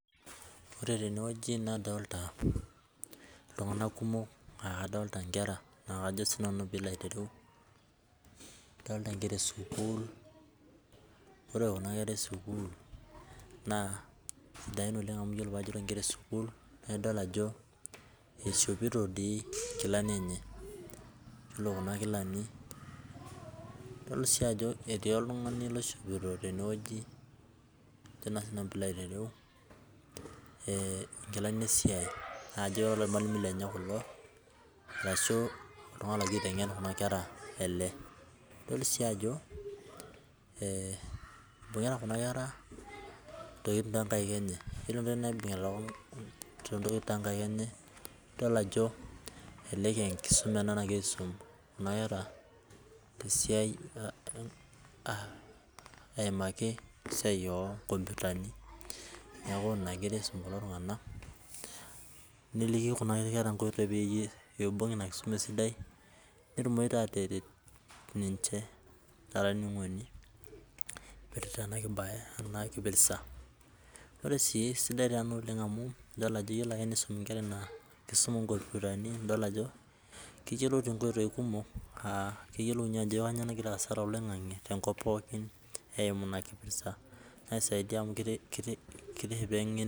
Ore tene wueji nadolita iltunganak kumok nadolita nkera naa kajo nkera e sukuul. Ore kuna kera e sukuul sidan oleng amu idol ajo eishopito nkilani enye. Ore kuna kilani dol sii ajo etii oltungani oishopito nkilani esiai naa kajo kormalimui lenye ilo arashu oltungani egira aitengen kuna kera ele. Dol sii ajo mbungita kuna kera ntokitin too nkaik enye ore kuna tokitin naibungita too nkaik enye nidol ajo elelek aa e nkisuma ena nagirae aasum kuna kera te esiai nagira aimaki esiai oo nkompiutani neliki kuna kera peibung ina kisuma esidai pee etumoki aataret ninche. Ore sii sidai sii ena oleng amu ore pee isumi nkera esiai oo nkompiutani keyiouloiu inkoitoi kumok neidim aatayiolo mbaa naagira aasa toloingange tenkop pookin eimu ina kisuma.